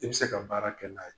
I be se ka baara kɛ n'a ye.